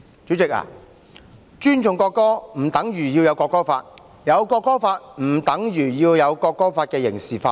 主席，尊重國歌不等於要訂立國歌法，訂立國歌法不等於要將國歌法刑事化。